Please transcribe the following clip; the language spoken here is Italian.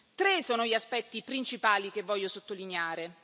Tre sono gli aspetti principali che voglio sottolineare.